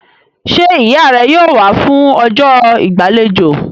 Ṣé ìyá rẹ yóò wá fún ọjọ́ ìgbàlejò?